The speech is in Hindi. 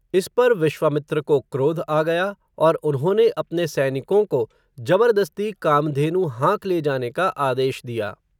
इस पर विश्वामित्र को, क्रोध आ गया, और उन्होंने अपने सैनिकों को, जबर्दस्ती कामधेनु, हाँक ले जाने का आदेश दिया